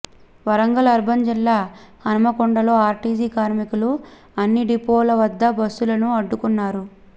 Warangal urban జిల్లా హన్మకొండలో RTC కార్మికులు అన్ని డిపోల వద్ద బస్సులను అడ్డుకున్నారు